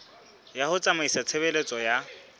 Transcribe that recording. ya ho tsamaisa tshebeletso ya